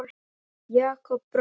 Jakob bróðir.